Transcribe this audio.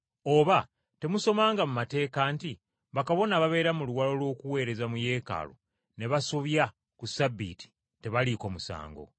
Oba temusomanga mu mateeka nti bakabona ababeera mu luwalo lw’okuweereza mu Yeekaalu ne basobya ku Ssabbiiti tebaliiko musango?